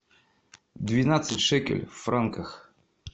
двенадцать шекелей в франках